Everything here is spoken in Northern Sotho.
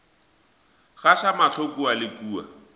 gaša mahlo kua le kua